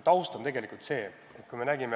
Taust on tegelikult see, et kui